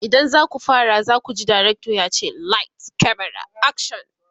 idan zaku fara zakuji dirctor yace "light, camera, action!"